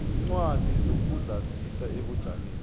iincwadi zokuzazisa ebujameni